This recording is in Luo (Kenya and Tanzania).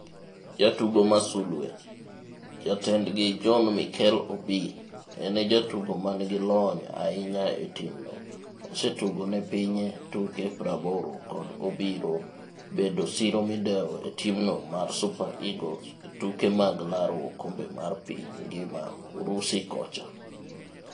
Jatugo ma sulwe: Jatendgi John Mikel Obi, en e jatugo manigi lony ahinya e timno, osetugo ne pinye tuke 80 to pod obiro bedo siro midewo e timno mar Super Eagles e tuke mag laro okombe mar piny ngima Urusi kocha.